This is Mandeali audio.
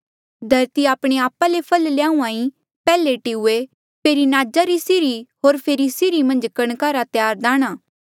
धरती आपणे आपा ले फल ल्याऊहाँ ईं पैहले टियूऐ फेरी नाजा री सीरी होर फेरी सीरी मन्झ कणका रा त्यार दाणा